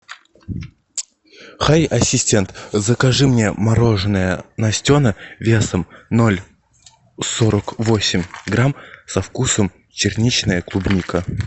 хай ассистент закажи мне мороженое настена весом ноль сорок восемь грамм со вкусом черничная клубника